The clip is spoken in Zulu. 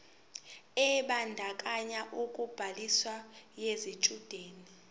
ebandakanya ubhaliso yesitshudeni